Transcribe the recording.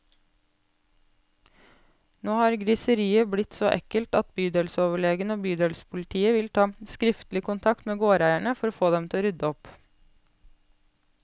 Nå har griseriet blitt så ekkelt at bydelsoverlegen og bydelspolitiet vil ta skriftlig kontakt med gårdeierne, for å få dem til å rydde opp.